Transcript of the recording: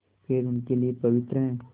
पेड़ उनके लिए पवित्र हैं